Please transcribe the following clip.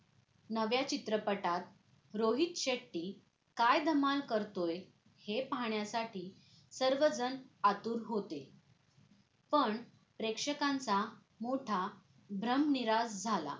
या नव्या चित्रपटात रोहित शेट्टी काय धमाल करतोय हे पाहण्यासाठी सर्वजण आतुर होते पण प्रेक्षकांचा मोठा भ्रम निरास झाला